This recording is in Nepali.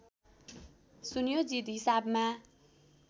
सुनियोजित हिसाबमा